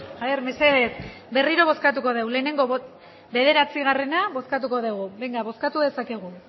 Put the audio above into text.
haber mesedez berriro bozkatuko dugu lehenengo bederatzigarrena bozkatuko dugu bozkatu dezakegu